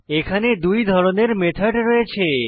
এখানে দুই ধরনের মেথড রয়েছে